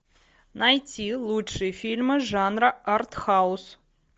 найти лучшие фильмы жанра артхаус